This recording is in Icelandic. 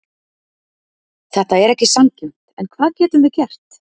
Þetta er ekki sanngjarnt, en hvað getum við gert?